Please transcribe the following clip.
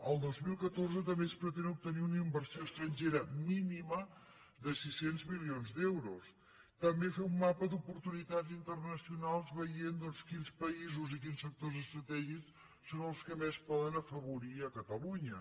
el dos mil catorze també es pretén obtenir una inversió estrangera mínima de sis cents mili·ons d’euros també fer un mapa d’oportunitats inter·nacionals veient doncs quins països i quins sectors estratègics són els que més poden afavorir catalunya